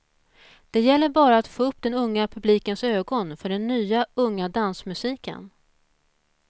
Det gäller bara att få upp den unga publikens ögon för den nya, unga dansmusiken.